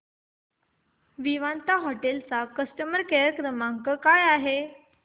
Vivanta hotel चा customer care क्रमांक काय आहे